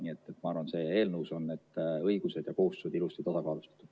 Nii et ma arvan, et eelnõus on need õigused ja kohustused ilusti tasakaalus.